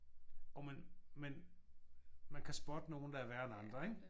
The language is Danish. Jo men men man kan spotte nogen der er værre end andre ik?